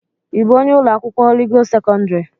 Ị bụ onye ụlọ akwụkwọ Holị Gost sekọndrị?